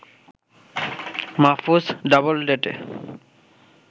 Mahfuz ডাবলডেতে